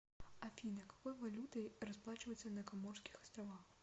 афина какой валютой расплачиваются на коморских островах